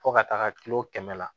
Fo ka taga kilo kɛmɛ la